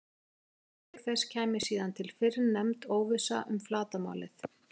Auk þess kæmi síðan til fyrrnefnd óvissa um flatarmálið.